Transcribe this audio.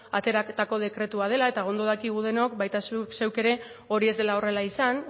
ateratako dekretua dela eta ondo dakigu denok baita zuk zeuk ere hori ez dela horrela izan